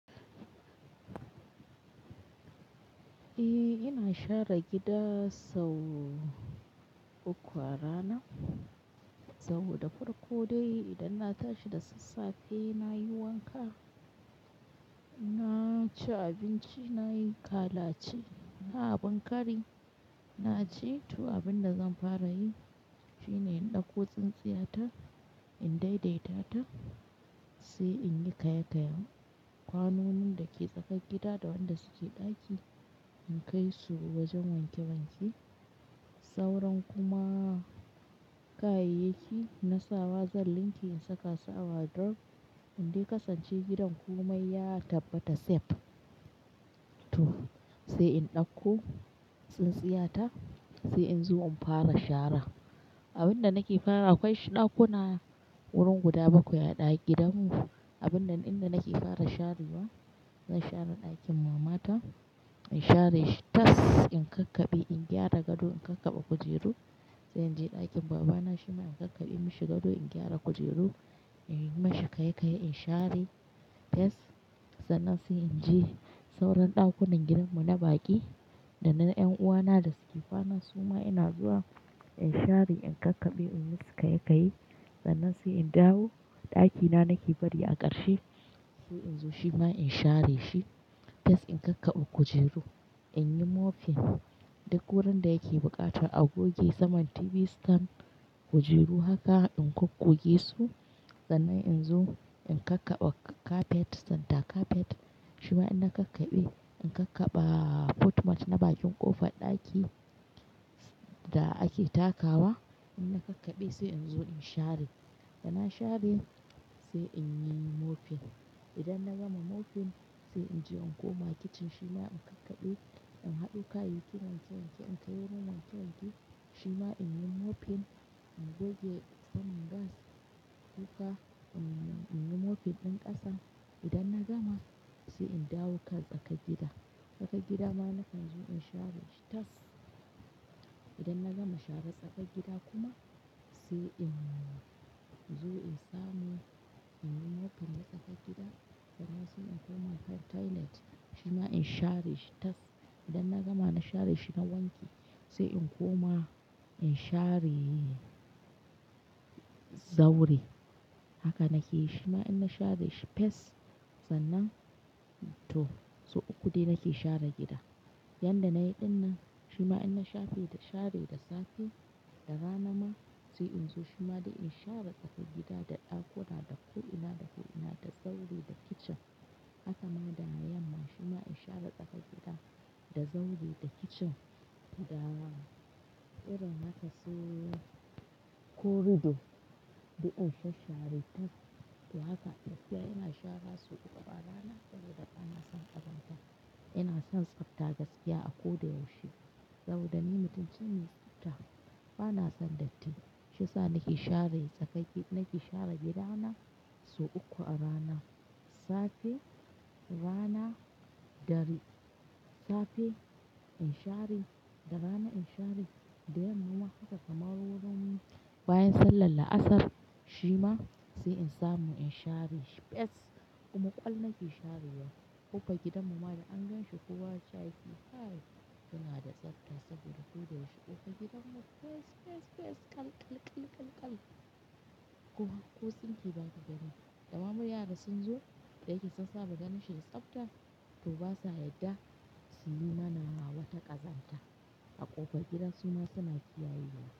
Eh ina share gida sau uku a rana, sau da farko dai idan na tashi da sassafe nayi wanka, na ci abinci nayi kalaci. Na abun kari, na je tu abinda zan fara yi shine in ɗauko tsintsiyata in daidaita ta sai in yi kayayyaki kwanonin dake tsakar gida da wanda suke ɗaki in kai su wajen wanke wanke. Sauran kuma kayayyaki na sawa zan linke in saka su a wadirof in dai kasance gidan komai ya tabbata safe. To sai in ɗauko tsintsiyata sai in zo in fara shara. Abin da nake fara akwai ɗakuna wurin guda bakwai a gidanmu. Abun nan inda nake fara sharewa zan share ɗakin mama ta in share shi tas in kakkabe in gyara gado in kakkaba kujeru. Sai in je ɗakin baba na shima in kakkabe mashi gado in gyara kujeru, in yi mashi kayyayyi in share shi fes sannan sai in je sauran ɗakunan gidanmu na baƙi da na ƴan uwana da suke fana suma ina zuwa in share in kakkabe in yi musu kayyayyi sannan sai in dawo ɗakina nake bari a ƙarshe sai in zo shima in share shi tas in kakkaba kujeru. In yi mofin duk wurin da yake bukata a goge saman TV stand, kujeru haka in goggoge su sannan in zo in kakkaba kafet, santa kafet shima in na kakkabe in kakkaba footmat na bakin ƙofar ɗaki da ake takawa in na kakkabe sai in zo in share. Da na share sai in yi mofin. Idan na gama mofin sai in je in koma kicin shima in kakkabe, in haɗo kayayyakin wanke wanke in kai wajen wanke wanke shima in yi mofin, in goge saman gas, kuka, in yi mofin ɗin ƙasa. Idan na gama sai in dawo tsakar gida. Tsakar gida ma na kan zo in share shi tas. Idan na gama share tsakar gida kuma sai in zo in samu in yi mofin na tsakar gida sannan sai in koma toilet shima in share shi tas. Idan na gama na share shi na wanke sai in koma in share zaure. Haka nake yi shima in na share shi fes sannan to sau uku dai nake share gida. Yanda na yi ɗin nan shima in na share da safe da rana ma sai in zo shima dai in share tsakar gida da ɗakuna, da ku'ina, da ku'ina, da zaure, da kicin. Hakama da na yamma shima in share tsakar gida, da zaure, da kicin da rana. Idan na kaso korido dai in sha share tas. To haka tafiya ina share sau uku a rana saboda bana son ƙazanta. Ina son tsafta gaskiya a ko da yaushe saboda ni mutum ce mai tsafta bana son datti shiyasa nake share gidana sau uku a rana. Safe, rana dare. Safe in share, da rana in share da yamma haka kamar wurin bayan sallar la'asar shima sai in samu in share shi fes kuma ƙwal na ke sharewa ƙofar gidan mu ma da an ganshi kowa ca yake kai muna da tsafta saboda ko da yaushe ƙofar gidanmu fes, fes, fes, kal, kal, kal, kal, kal. Ko hakko tsunke baka gani. Damamu yara sun zo da yake sassafe ganin shi tsabta to basa yadda su yi mana wata ƙazanta a ƙofar gida suma su na kiyaye wa.